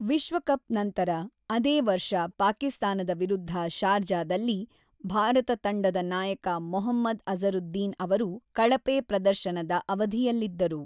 ವಿಶ್ವಕಪ್ ನಂತರ, ಅದೇ ವರ್ಷ ಪಾಕಿಸ್ತಾನದ ವಿರುದ್ಧ ಶಾರ್ಜಾದಲ್ಲಿ, ಭಾರತ ತಂಡದ ನಾಯಕ ಮೊಹಮ್ಮದ್ ಅಜರುದ್ದೀನ್ ಅವರು ಕಳಪೆ ಪ್ರದರ್ಶನದ ಅವಧಿಯಲ್ಲಿದ್ದರು.